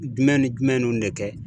Jumɛn ni jumɛn nunnu de kɛ.